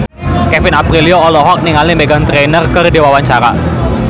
Kevin Aprilio olohok ningali Meghan Trainor keur diwawancara